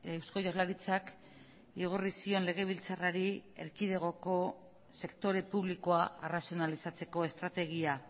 eusko jaurlaritzak igorri zion legebiltzarrari erkidegoko sektore publikoa arrazionalizatzeko estrategia